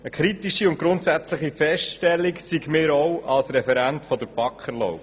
Eine kritische und grundsätzliche Feststellung sei mir als Referent der BaK erlaubt: